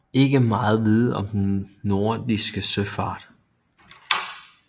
Ikke meget vides om den nordiske søfart